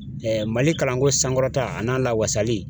Mali kalanko sankɔrɔta a n'a lawasali